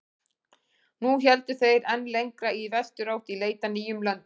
Nú héldu þeir enn lengra í vesturátt í leit að nýjum löndum.